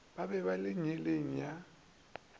go ba ka nngeleng ya